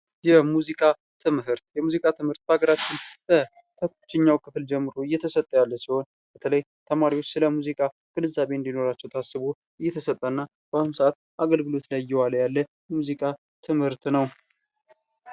የሙዚቃ ትምህርት የሙዚቃ ትምህርት በሀገራችን ከታችኛው ክፍል ጀምሮ እየተሰጠ ያለ ሲሆን በተለይ ተማሪዎች ስለ ሙዚቃ ግንዛቤ እንድኖራቸው ታስቦ እየተሰጠ እና በአሁኑ ሰአት አገልግሎት ላይ እየዋለ ያለ የሙዚቃ ትምህርት ነው።